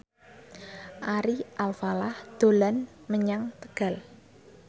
Ari Alfalah dolan menyang Tegal